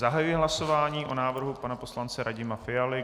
Zahajuji hlasování o návrhu pana poslance Radima Fialy.